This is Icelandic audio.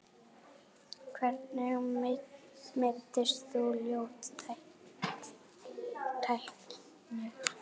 Hvernig meiddist þú, ljót tækling?